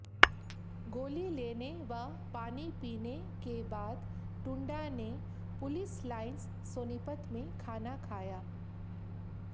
गोली लेने व पानी पीने के बाद टुंडा ने पुलिस लाइंस सोनीपत में खाना खाया